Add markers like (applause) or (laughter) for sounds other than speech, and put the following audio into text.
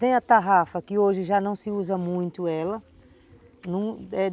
Tem a tarrafa, que hoje já não se usa muito ela (unintelligible)